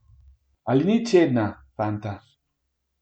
Ali ni čedna, fanta?